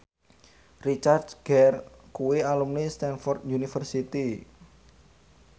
Richard Gere kuwi alumni Stamford University